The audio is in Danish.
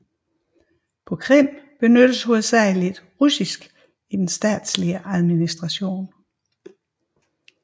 På Krim benyttes hovedsageligt russisk i den statslige administration